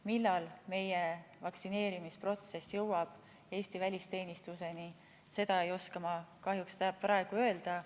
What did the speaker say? Millal meie vaktsineerimisprotsess jõuab Eesti välisteenistuseni, seda ma ei oska kahjuks praegu öelda.